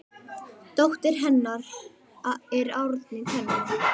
Dóttir hennar er Árný Thelma.